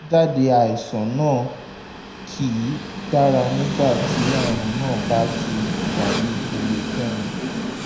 àbájáde àìsàn náà kì í dára nígbà tí àrùn náà bá wà ní ìpele kẹrin